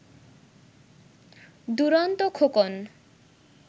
Duronto Khokon